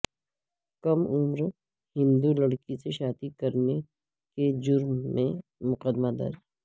کم عمر ہندو لڑکی سے شادی کے جرم میں مقدمہ درج